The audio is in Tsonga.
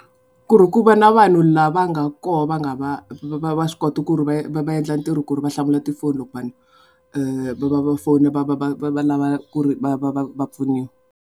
ku ri ku va na vanhu lava nga kona va nga va va swi koti ku ri va va endla ntirho ku ri va hlamula tifoni loko vanhu va va va fona va va va va va lava ku ri va pfuniwa.